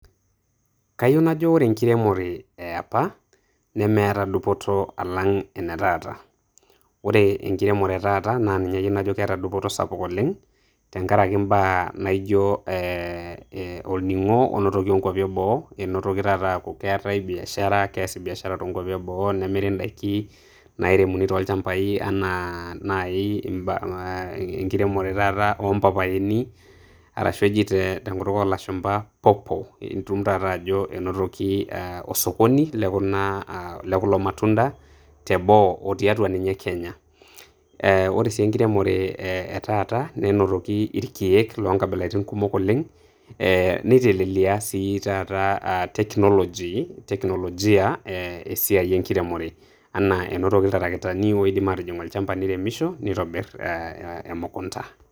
Kayieu najo ore enkiremore eapa nemeeta dupoto alang' ene taata. Ore enkiremore e taata naa ninye ayieu ajo keeta dupoto sapuk oleng' tenkaraki imbaa naijo eh olning'o oinotoki tokwapi eboo. Inotoki taata aku keetae biashara, keesi biashara tokwapi eboo, nemiri idaiki nairemuni tolchambai enaa nai eh, enkiremore taata oo mpapayoni, arashu eji tenkutuk olashumpa pawpaw. Itum taata ajo enotoki osokoni lekuna ah lekulo matunda teboo o tiatua ninye Kenya. Eh Ore si enkiremore e taata nenotoki irkeek loonkabilaritin kumok oleng',eh nitelelia si taata technology teknologia esiai enkiremore. Enaa enotoki iltarakitani oidim aatijing' olchamba neiremisho neitobirr emukunda.